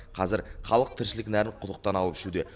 қазір халық тіршілік нәрін құдықтан алып ішуде